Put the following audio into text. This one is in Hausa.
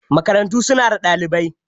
Makarantu su na da ɗalibai.